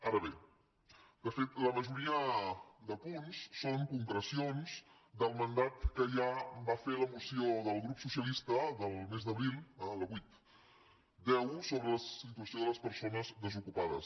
ara bé de fet la majoria de punts són concreci·ons del mandat que ja va fer la moció del grup so·cialista el mes d’abril la vuit x sobre la situació de les persones desocupades